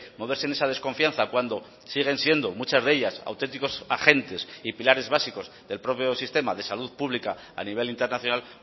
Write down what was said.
moverse en esa desconfianza cuando siguen siendo muchas de ellas auténticos agentes y pilares básicos del propio sistema de salud pública a nivel internacional